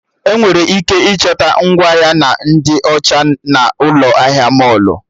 Enwere ike ịchọta ngwa ahịa ndị ọcha na'Ụlọ ahịa mọlụ